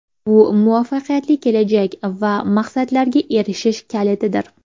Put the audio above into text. Bu muvaffaqiyatli kelajak va maqsadlarga erishish kalitidir.